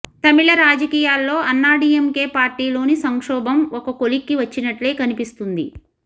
తమిళ రాజకీయాల్లో అన్నాడీఎంకె పార్టీలోని సంక్షోభం ఒక కొలిక్కి వచ్చినట్లే కనిపిస్తుంది